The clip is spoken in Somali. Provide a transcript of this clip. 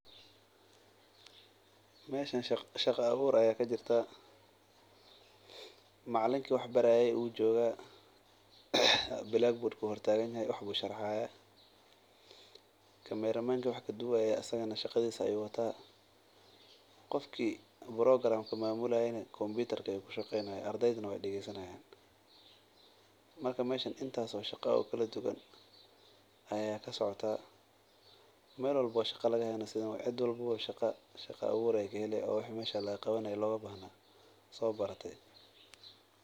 Meeshan shaqa abuur ayaa kajirta macalinka wuu jooga waxbu sharaxaya qofka wax duubaye shaqadiisa ayuu wataa qofka wax mamulaye wuu fadiya qof walbo shaqa ayuu kahelaya.